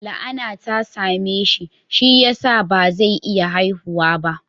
La'ana ta same shi, shi ya sa ba zai iya haihuwa ba